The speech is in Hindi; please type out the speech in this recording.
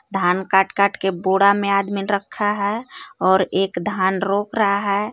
धान काट काट के बोरा में आदमी रखा है और एक धान रोप रहा है।